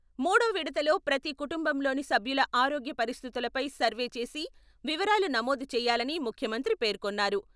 మూడో విడతలో ప్రతి కుటుంబంలోని సభ్యుల ఆరోగ్య పరిస్థితులపై సర్వే చేసి వివరాలు నమోదు చేయాలని ముఖ్యమంత్రి పేర్కొన్నారు.